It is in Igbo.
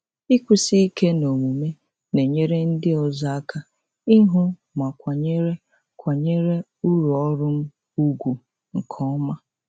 Ịkwụsi ike n'omume na-enyere ndị ọzọ aka ịhụ ma kwanyere kwanyere uru ọrụ m ùgwù nke ọma.